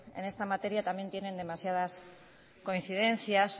en esta materia también tienen demasiadas coincidencias